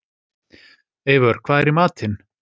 Eivör, hvað er í matinn?